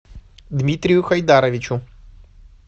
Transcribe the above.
дмитрию хайдаровичу